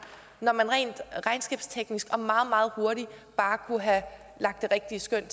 når man rent regnskabsteknisk og meget meget hurtigt bare kunne have lagt det rigtige skøn